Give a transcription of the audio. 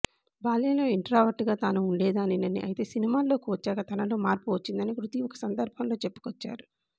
బాల్యంలో ఇంట్రావర్ట్ గా తాను ఉండేదానినని అయితే సినిమాల్లోకి వచ్చాక తనలో మార్పు వచ్చిందని కృతి ఒక సందర్భంలో చెప్పుకొచ్చారు